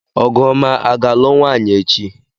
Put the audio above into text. Ọgụọma aga-alụ nwaanyị echi?